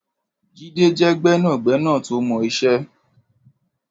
Jide jẹ̀ gbẹ̀nágbẹ̀ná tó mọ iṣè